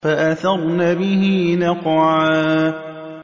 فَأَثَرْنَ بِهِ نَقْعًا